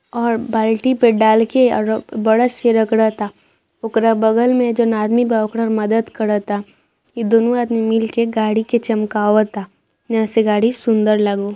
और बाल्टी पे डाल के ब्रश से रगड़ता ओकरा बगल में जॉन आदमी बा ओकर मदद करता इ दुनू आदमी मिल के गाड़ी के चमकावा ता जॉन से गाड़ी सुंदर लागो।